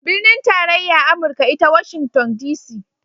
Binin tarayya amurka ita Washington DC